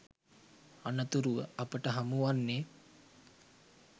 අනතුරුව අපට හමුවන්නේ